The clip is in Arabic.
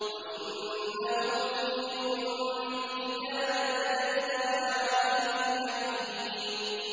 وَإِنَّهُ فِي أُمِّ الْكِتَابِ لَدَيْنَا لَعَلِيٌّ حَكِيمٌ